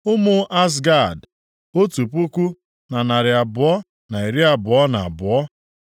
Ụmụ Azgad, otu puku na narị abụọ na iri abụọ na abụọ (1,222).